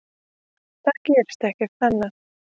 Það gerist ekkert annað.